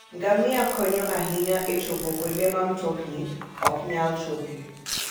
Ngamia konyo ahinya e chopo kuonde ma mtokni ok nyal chopoe.